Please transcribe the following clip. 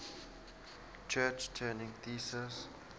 church turing thesis